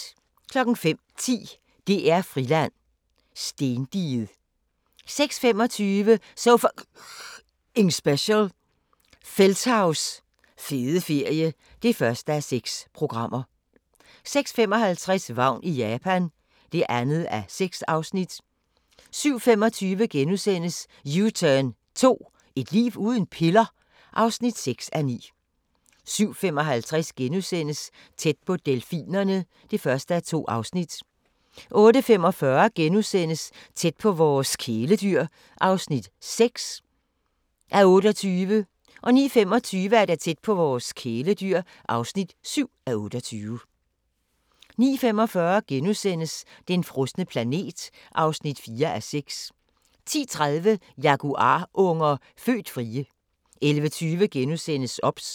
05:10: DR-Friland: Stendiget 06:25: So F***ing Special – Feldthaus fede ferie (1:6) 06:55: Vagn i Japan (2:6) 07:25: U-turn 2 – et liv uden piller? (6:9)* 07:55: Tæt på delfinerne (1:2)* 08:45: Tæt på vores kæledyr (6:28)* 09:25: Tæt på vores kæledyr (7:28) 09:45: Den frosne planet (4:6)* 10:30: Jaguarunger – født frie 11:20: OBS *